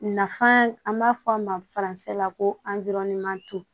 Nafan an b'a fɔ a ma la ko